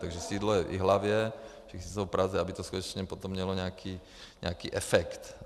Takže sídlo je v Jihlavě, všichni jsou v Praze, aby to skutečně potom mělo nějaký efekt.